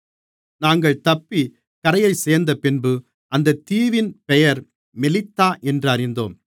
நாங்கள் தப்பிக் கரையைச் சேர்ந்தப்பின்பு அந்தத் தீவின் பெயர் மெலித்தா என்று அறிந்தோம்